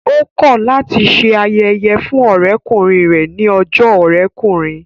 Ó kọ̀ láti se ayẹyẹ fún ọ̀rẹ́kùnrin rẹ̀ ní ọjọ́ ọ̀rẹ́kùnrin